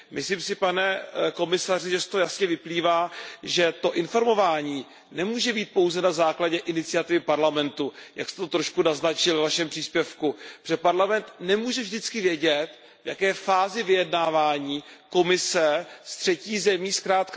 Myslím si, pane komisaři, že z toho jasně vyplývá, že to informování nemůže být pouze na základě iniciativy Parlamentu, jak jste to trošku naznačil ve Vašem příspěvku, protože Parlament nemůže vždycky vědět, v jaké fázi se vyjednávání Komise se třetí zemí nachází.